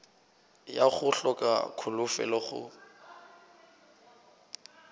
ya go hloka kholofelo go